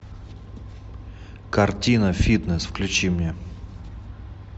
картина фитнес включи мне